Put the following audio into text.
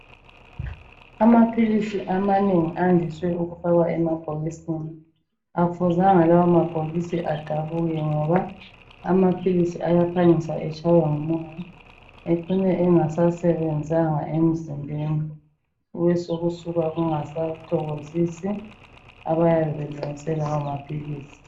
Amaphilisi amanengi andiswe ukufakwa emabhokisini akufuzanga lawa mabhokisi adabuke ngoba amaphilisi ayaphangisa etshaywe ngumoya ecine engasasebenzanga emzimbeni kubesokusuka kungasathokozisi abayabe belungise lawa maphilisi.